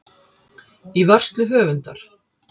Í vörslu höfundar.